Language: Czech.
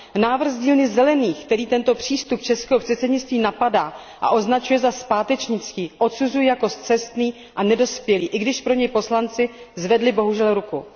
Návrh z dílny Zelených, který tento přístup českého předsednictví napadá a označuje za zpátečnický, odsuzuji jako scestný a nedospělý, i když pro něj poslanci zvedli bohužel ruku.